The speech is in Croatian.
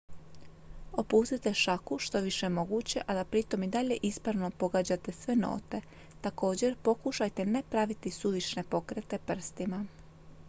opustite šaku što je više moguće a da pritom i dalje ispravno pogađate sve note također pokušajte ne praviti suvišne pokrete prstima